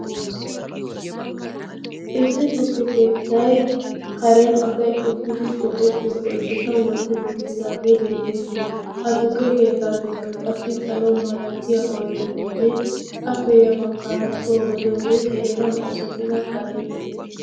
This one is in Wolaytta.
issi tukke keettai karen asai uttidi go77ettiyo oiddeta wotti uttidaagee beettees. ha tukke keettankka qassi salo malatiya oidetinne afeya baggaara soogaliyoode heregan oossattida karee de7ees.